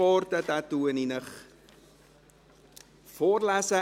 Ich lese Ihnen diesen vor.